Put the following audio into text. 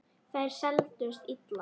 Þær seldust illa.